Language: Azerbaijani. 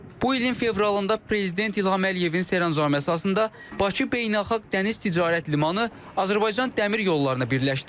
Bu ilin fevralında prezident İlham Əliyevin sərəncamı əsasında Bakı Beynəlxalq Dəniz Ticarət Limanı Azərbaycan Dəmir Yollarına birləşdi.